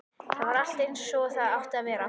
Þar var allt einsog það átti að vera.